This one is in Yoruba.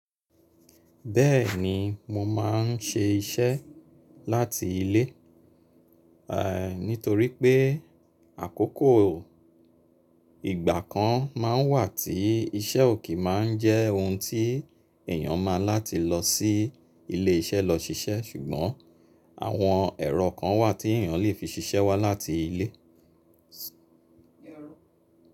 Bẹ́ẹ̀ni, mo máa n ṣe iṣẹ́ láti ilé, nítorí pé àkókò ìgbà kan máa ń wà tí iṣẹ́ ò kin máa ń jẹ́ ohun tí èèyàn máa ń láti lọ sí ilé iṣẹ́ lọ ṣiṣẹ́ ṣùgbọ́n àwọn ẹ̀rọ kan wà tí èèyàn lè fi ṣiṣẹ́ wá láti ilé.